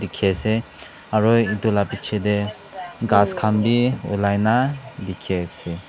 dekhi ase aru etu laga piche te gass khan bhi ulai na dekhi ase.